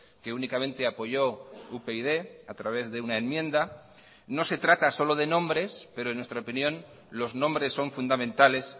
que únicamente apoyó upyd a través de una enmienda no se trata solo de nombres pero en nuestra opinión los nombres son fundamentales